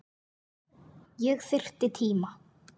Ég þyrfti tíma.